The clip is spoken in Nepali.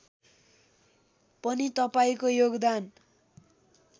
पनि तपाईँको योगदान